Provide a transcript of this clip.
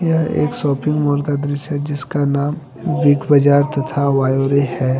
यह एक shopping mall का दृश्य है जिसका नाम बिग बाज़ार तथा वायरे है।